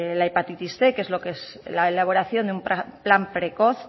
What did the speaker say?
la hepatitis cien que es la elaboración de un plan precoz